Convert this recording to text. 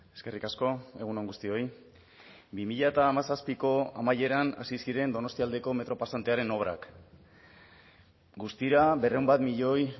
eskerrik asko egun on guztioi bi mila hamazazpiko amaieran hasi ziren donostialdeko metro pasantearen obrak guztira berrehun bat milioi